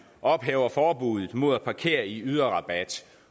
ophæve forbuddet mod at parkere i yderrabatten